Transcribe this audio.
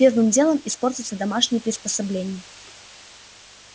первым делом испортятся домашние приспособления